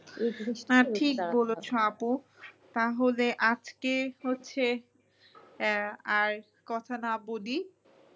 হ্যাঁ ঠিক বলেছো আপু তাহলে আজকে হচ্ছে আহ আর কথা না বলি